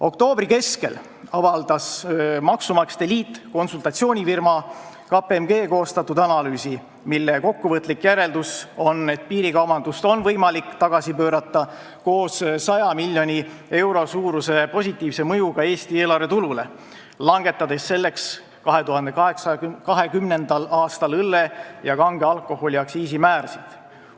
Oktoobri keskel avaldas maksumaksjate liit konsultatsioonifirma KPMG koostatud analüüsi, mille kokkuvõtlik järeldus on, et piirikaubandust on võimalik tagasi pöörata, koos 100 miljoni euro suuruse positiivse mõjuga Eesti eelarvetulule, langetades selleks 2020. aastal õlle ja kange alkoholi aktsiisimäärasid.